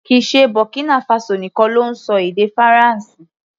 Kìí ṣe Burkina Faso nìkan ló ń ṣọ èdè Faransé.